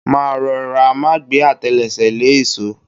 Máa rọra, má gbẹ́ àtẹlẹsẹ̀ lé ìṣó.